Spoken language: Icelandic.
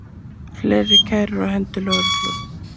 Fleiri kærur á hendur lögreglu